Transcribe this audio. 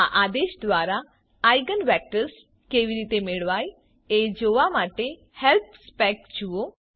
આ આદેશ દ્વારા આઇજેન વેક્ટર્સ કેવી રીતે મેળવાય એ જોવા માટે હેલ્પ સ્પેક જુઓ